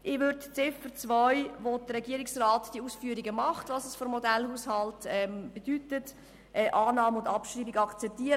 Ich würde bei Ziffer 2, wo der Regierungsrat die Ausführungen darüber macht, was es für Modellhaushalte bedeutet, die Annahme und Abschreibung akzeptieren.